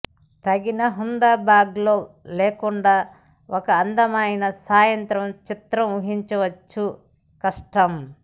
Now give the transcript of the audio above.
తగిన హ్యాండ్బ్యాగ్లో లేకుండా ఒక అందమైన సాయంత్రం చిత్రం ఊహించవచ్చు కష్టం